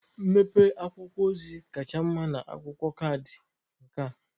Mpempe akwụkwọ ozi kacha mma na akwụkwọ kaadị nka